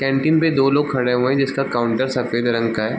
Canteen पे दो लोग खड़े हुए है जिसका काउंटर सफेद रंग का है।